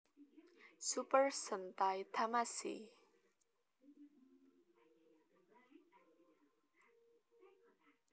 Super Sentai Tamashii